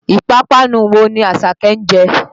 Ìpápánu wo ni Àṣàké ń jẹ?